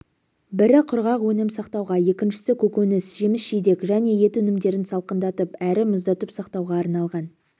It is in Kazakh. бірі құрғақ өнім сақтауға екіншісі көкөніс жеміс-жидек және ет өнімдерін салқындатып әрі мұздатып сақтауға арналған